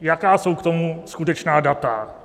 Jaká jsou k tomu skutečná data?